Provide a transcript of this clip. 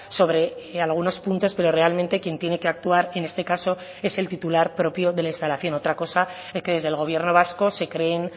sobre algunos puntos pero realmente quien tiene que actuar en este caso es el titular propio de la instalación otra cosa que desde el gobierno vasco se creen